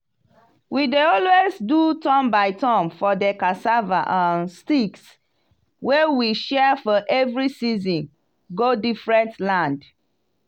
we dey always do turn by turn for de cassava um sticks wey we share for every season go diefferent land.